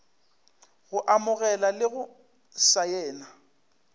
go amogela le go saena